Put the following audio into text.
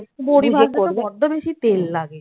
বড়ি ভাজতে তো বড্ড বেশি তেল লাগে